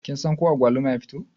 Kin san ko agwaluma ya fito?